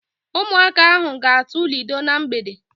Ụmụaka ahụ ga-atụ ludo na mgbede.